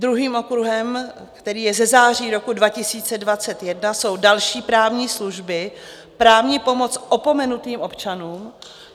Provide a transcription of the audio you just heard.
Druhým okruhem, který je ze září roku 2021, jsou další právní služby, právní pomoc opomenutým občanům.